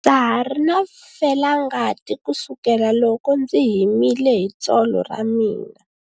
Ndza ha ri na felangati kusukela loko ndzi himile hi tsolo ra mina.